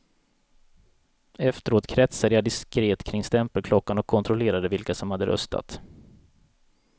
Efteråt kretsade jag diskret kring stämpelklockan och kontrollerade vilka som hade röstat.